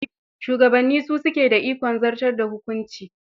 Shugabanni su suke da ikon zartar da hukunci.